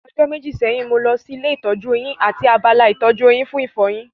Ọjọ́ méjì sẹ́yìn, mo lọ sí ilé ìtọ́jú eyín àti abala ìtọ́jú eyín fún ìfọyin